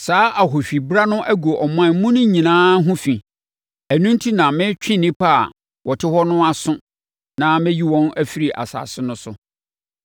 Saa ahohwibra no agu ɔman mu no nyinaa ho fi; ɛno enti na meretwe nnipa a wɔte hɔ no aso na mɛyi wɔn afiri asase no so.